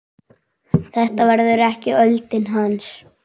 Þetta verður ekki öldin hans.